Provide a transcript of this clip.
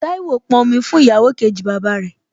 Táíwò pọn omi fún ìyàwó kejì bàbá rẹ̀